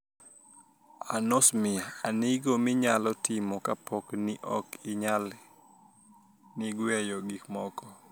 Anosmia: Anig'o miniyalo timo kapo nii ok iniyal nig'weyo gik moko?